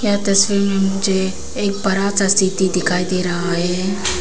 यह तस्वीर में मुझे एक बड़ा सा सिटी दिखाई दे रहा है।